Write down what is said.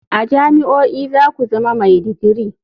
A jami'o'i za ku zama mai digiri.